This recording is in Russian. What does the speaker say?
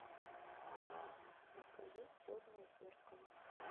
покажи черное зеркало